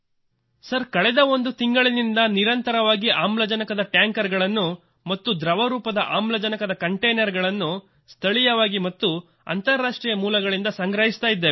sir ಕಳೆದ ಒಂದು ತಿಂಗಳಿನಿಂದ ನಿರಂತರವಾಗಿ ಆಮ್ಲಜನಕದ ಟ್ಯಾಂಕರ್ಗಳನ್ನು ಮತ್ತು ದ್ರವ ರೂಪದ ಆಮ್ಲಜನಕದ ಕಂಟೈನರ್ ಗಳನ್ನು ಸ್ಥಳೀಯವಾಗಿ ಮತ್ತು ಅಂತಾರಾಷ್ಟ್ರೀಯ ಮೂಲಗಳಿಂದ ಸಂಗ್ರಹಿಸುತ್ತಿದ್ದೇವೆ